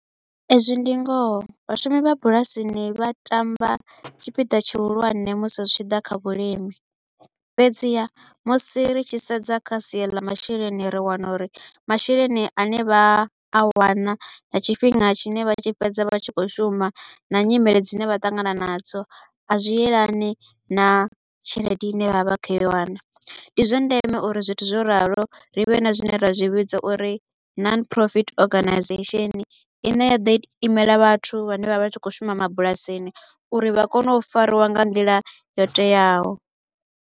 Ezwi ndi ngoho, vhashumi vha bulasini vha tamba tshipiḓa tshihulwane musi zwi tshi ḓa kha vhulimi. Fhedziha musi ri tshi sedza kha sia ḽa masheleni ri wana uri masheleni a ne vha a wana nga tshifhinga tshine vha tshi fhedza vha tshi kho u shuma na nyimele dzine vha ṱangana nadzo a zwi elani na tshelede i ne vha vha kho u i wana. Ndi zwa ndeme uri zwithu zwo ralo, ri vhe na zwine ra zwi vhidza uri Non-Profit Organisation i ne ya ḓo imela vhathu vhane vha vha tshi kho u shuma mabulasini uri vha kone u fariwa nga nḓila yo teaho.